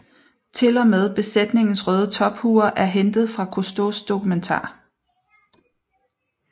Til og med besætningens røde tophuer er hentet fra Cousteaus dokumentar